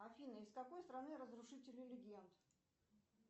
афина из какой страны разрушители легенд